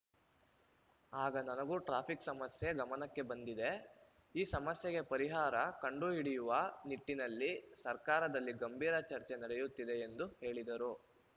ಆಗ ನನಗೂ ಟ್ರಾಫಿಕ್‌ ಸಮಸ್ಯೆ ಗಮನಕ್ಕೆ ಬಂದಿದೆ ಈ ಸಮಸ್ಯೆಗೆ ಪರಿಹಾರ ಕಂಡು ಹಿಡಿಯುವ ನಿಟ್ಟಿನಲ್ಲಿ ಸರ್ಕಾರದಲ್ಲಿ ಗಂಭೀರ ಚರ್ಚೆ ನಡೆಯುತ್ತಿದೆ ಎಂದು ಹೇಳಿದರು